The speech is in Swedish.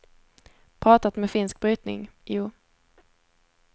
Pratat med finsk brytning, jo.